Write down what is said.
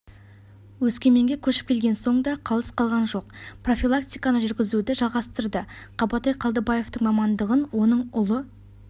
өскеменге көшіп келген соң да қалыс қалған жоқ профилактиканы жүргізуді жалғастырды қабатай қалдыбаевтың мамандығын оның ұлы